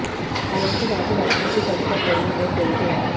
हालांकि बाद में राष्ट्रपति ट्रंप का कोरोना टेस्ट नेगेटिव आया